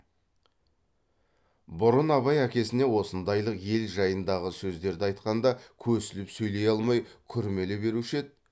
бұрын абай әкесіне осындайлық ел жайындағы сөздерді айтқанда көсіліп сөйлей алмай күрмеле беруші еді